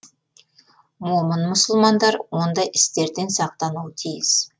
момын мұсылмандар ондай істерден сақтануы тиіс